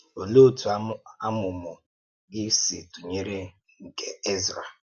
Òlee otú àmụ̀mụ̀ gị si tụ̀nyere nke Ezrā?